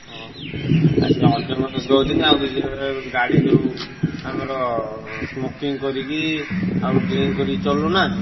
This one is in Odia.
ହଁ ସିଏ ଅନ୍ୟମନସ୍କ ହଉଛନ୍ତି ଆଉ କିଛି ଗାଡି ଯୋଉ ତାଙ୍କର smoking କରିକି ଆଉ drink କରିକି ଚଲାଉନାହାଁନ୍ତି।